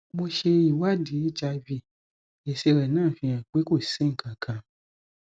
mo ṣe ìwádìí hiv èsì rẹ náà fi hàn pé kò si nkankan